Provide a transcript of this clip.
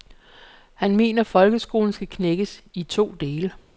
Han mener folkeskolen skal knækkes, i to dele.